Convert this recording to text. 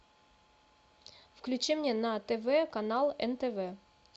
включи мне на тв канал нтв